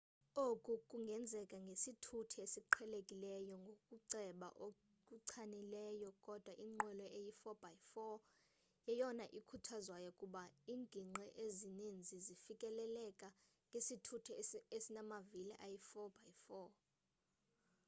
oku kungenzeka ngesithuthi esiqhelekileyo ngokuceba okuchanileyo kodwa inqwelo eyi 4x4 yeyona ikhuthazwayo kuba ingingqi ezinintsi zifikeleleka ngesithuthi esimavili ayi 4x4